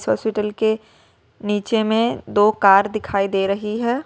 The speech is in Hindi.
हॉस्पिटल के नीचे में दो कार दिखाई दे रही है।